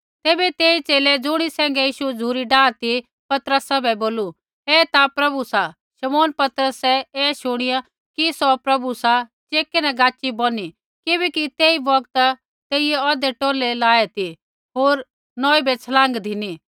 तैबै तेई च़ेले ज़ुणी सैंघै यीशु झ़ुरी डाआ ती पतरसा बै बोलू ऐ ता प्रभु सा शमौन पतरसै ऐ शूणीया कि सौ प्रभु सा चेकै न गाच़ी बौनी किबैकि तेई बौगता तेइयै औधै टौलै लाये ती होर नौई बै छलाँग धिनी